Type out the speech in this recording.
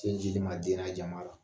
tin jlima den ma jama la .